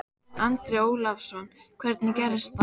Andri Ólafsson: Hvernig gerðist það?